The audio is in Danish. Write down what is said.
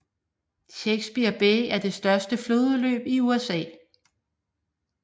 Chesapeake Bay er det største flodudløb i USA